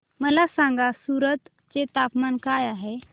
मला सांगा सूरत चे तापमान काय आहे